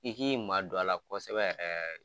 I k'i madon a la kosɛbɛ yɛrɛ yɛrɛ.